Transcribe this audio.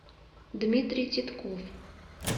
дмитрий титков